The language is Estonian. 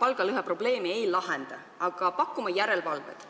palgalõheprobleemi ei lahenda, aga pakume järelevalvet.